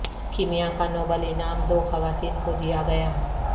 کیمیا کا نوبل انعام دو خواتین کو دیا گیا